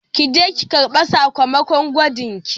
Ki je ki karɓi sakamakon gwajin ki